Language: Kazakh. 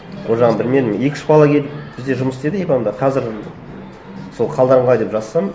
ол жағын білмедім екі үш бала келіп бізде жұмыс істеді қазір сол қалдарың қалай деп жазсам